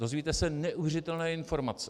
Dozvíte se neuvěřitelné informace.